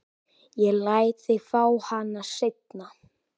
Ég læt þig fá hana seinna.